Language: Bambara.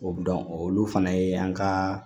O dɔn olu fana ye an ka